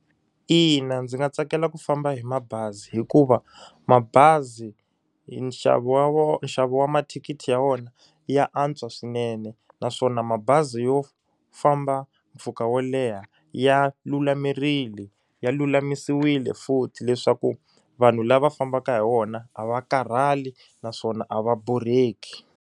Ina ndzi nga tsakela ku famba hi mabazi hikuva mabazi hi nxavo wa wa nxavo wa mathikithi ya wona ya antswa swinene naswona mabazi yo famba mpfhuka wo leha ya lulamerile ya lulamisiwile futhi leswaku vanhu lava fambaka hi wona a va karhali naswona a va borheki.